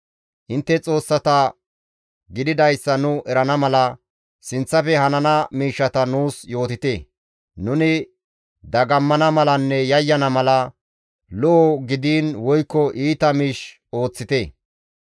Intte xoossata gididayssa nu erana mala, sinththafe hanana miishshata nuus yootite; nuni dagammana malanne yayyana mala, lo7o gidiin woykko iita miish ooththite.